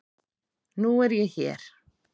Nú er ég hér.